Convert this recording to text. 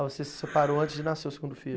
Ah, você se separou antes de nascer o segundo filho.